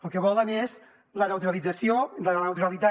el que volen és la neutralització de la neutralitat